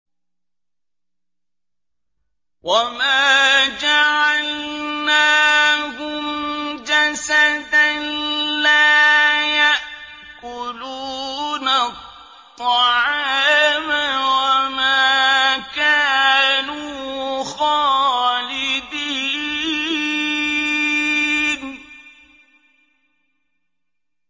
وَمَا جَعَلْنَاهُمْ جَسَدًا لَّا يَأْكُلُونَ الطَّعَامَ وَمَا كَانُوا خَالِدِينَ